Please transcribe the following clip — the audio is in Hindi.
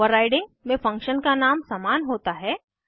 ओवर्राइडिंग में फंक्शन का नाम समान होता है